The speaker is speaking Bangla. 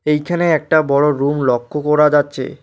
এইখানে একটা বড়ো রুম লক্ষ্য করা যাচ্ছে।